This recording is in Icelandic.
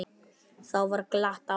Þá var glatt á hjalla.